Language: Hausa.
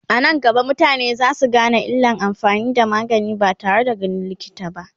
anan gaba mutane zasu Gane illan amfani da magani ba tare da ganin likita ba